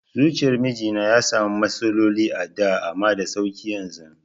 Zuciyar mijina ya sami matsaloli a da amma da sauƙi yanzu